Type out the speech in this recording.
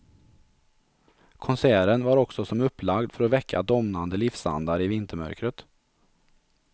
Konserten var också som upplagd för att väcka domnande livsandar i vintermörkret.